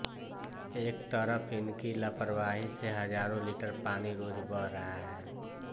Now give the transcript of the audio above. एक तरफ् इनकी लापरवाहि से हजारो लीटर पानी रोज बह रहा है